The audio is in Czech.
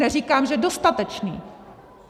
Neříkám, že dostatečný.